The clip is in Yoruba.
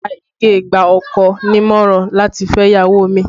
Iya Ige gba ọkọ ní ìmọ̀ràn láti fẹ́ ìyàwó kejì